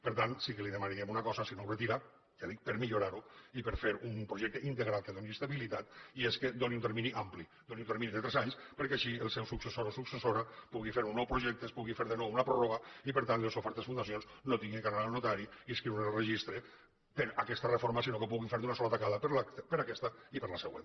per tant sí que li demanaríem una cosa si no el retira ja ho dic per millorar ho i per fer un projecte integral que doni estabilitat i és que doni un termini ampli doni un termini de tres anys perquè així el seu successor o successora pugui fer un nou projecte es pugui fer de nou una pròrroga i per tant les sofertes fundacions no hagin d’anar al notari i inscriure’s en el registre per aquesta reforma sinó que ho puguin fer d’una sola tacada per a aquesta i per a la següent